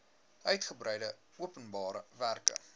uitgebreide openbare werke